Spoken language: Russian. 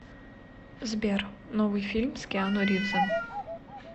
сбер новый фильм с киану ривзом